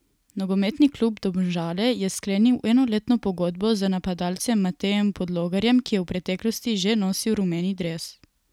Nogometni klub Domžale je sklenil enoletno pogodbo z napadalcem Matejem Podlogarjem, ki je v preteklosti že nosil rumeni dres.